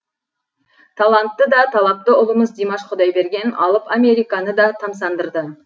талантты да талапты ұлымыз димаш құдайберген алып американы да тамсандырды